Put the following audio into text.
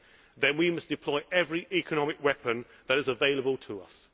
then we must deploy every economic weapon available to